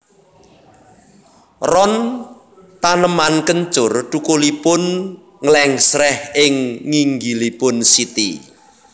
Ron taneman kencur thukulipun nglèngsrèh ing nginggilipun siti